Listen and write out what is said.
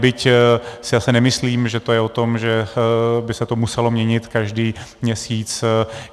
Byť si zase nemyslím, že je to o tom, že by se to muselo měnit každý měsíc.